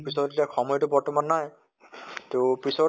পিছত সময় টো বৰ্তমান নাই, তʼ পিছত